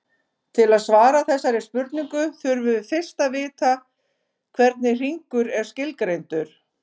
Til að svara þessari spurningu þurfum við fyrst að vita hvernig hringur er skilgreindur.